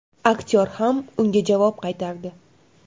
Aktyor ham unga javob qaytardi.